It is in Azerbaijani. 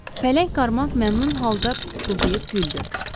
Pələng Karmak məmnun halda pıqqıldayıb güldü.